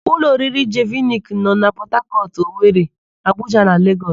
Ụlọ oriri Jeviniki nọ na Pọtakọtụ, Owere, Abuja na Legọs.